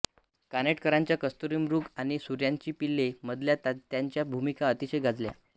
कानेटकरांच्या कस्तुरीमृग आणि सूर्याची पिल्ले मधल्या त्यांच्या भूमिका अतिशय गाजल्या